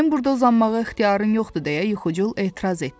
Sənin burda uzanmağa ixtiyarın yoxdu deyə Yuxucul etiraz etdi.